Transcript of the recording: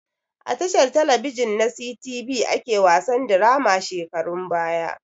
A tashar talabijin na sitibi ake wasan dirama shekarun baya